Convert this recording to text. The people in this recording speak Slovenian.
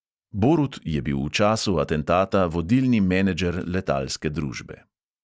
Borut je bil v času atentata vodilni menedžer letalske družbe.